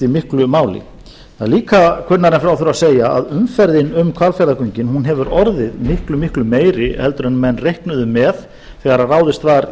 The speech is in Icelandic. miklu máli það er líka kunnara en frá þurfi að segja að umferðin um hvalfjarðargöngin hefur orðið miklu miklu meiri en menn reiknuðu með þegar ráðist var í